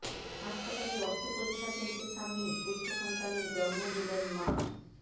হাসপাতালে রক্ত পরীক্ষা কেন্দ্রের সামনেই পুত্রসন্তানের জন্ম দিলেন মা